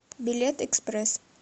билет экспресс